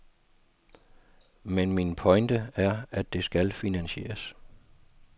Men min pointe er, at det skal finansieres.